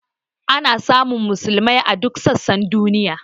Ana samun musulmai a duk sassan duniya.